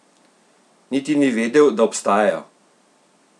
Niti ni vedel, da obstajajo!